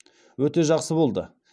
өте жақсы болды